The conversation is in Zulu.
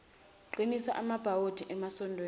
qinisa amabhawodi emasondweni